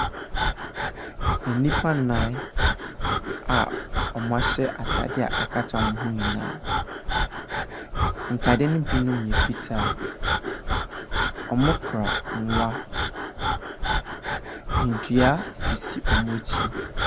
Nnipa nnan a ɔmo ahyɛ ataade a akata ɔmo ho nyinaa. Ntaade binom bi yɛ fitaa. Ɔmo kura nwa. Ndua sisi ɔmo akyi.